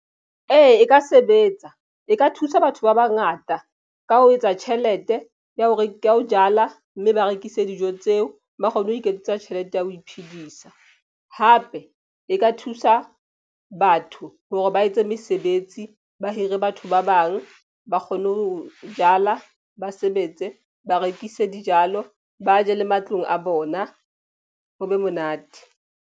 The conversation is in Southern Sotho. Ee, e ka sebetsa e ka thusa batho ba bangata ka ho etsa tjhelete ya hore ke ya ho jala, mme ba rekise dijo tseo ba kgone ho iketsetsa tjhelete ya ho iphedisa. Hape e ka thusa batho hore ba etse mesebetsi. Ba hire batho ba bang ba kgone ho jala ba sebetse ba rekise dijalo ba je le matlong a bona ho be monate.